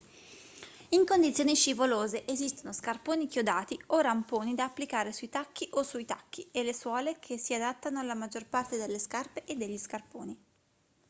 in condizioni scivolose esistono scarponi chiodati o ramponi da applicare sui tacchi o sui tacchi e le suole che si adattano alla maggior parte delle scarpe e degli scarponi